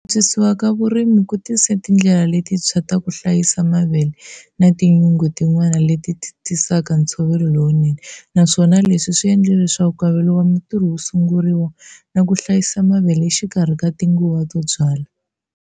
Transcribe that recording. Antswisiwa ka vurimi ku tise tindlela letinthswa ta ku hlayisa mavele na tinyunge tin'wana leti tisaka ntsovelo lowunene, naswona leswi swi endle leswaku nkavelo wa mintirho wu sunguriwa na ku hlayisa mavele exikarhi ka tinguva to byala.